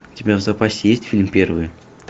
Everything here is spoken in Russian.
у тебя в запасе есть фильм первые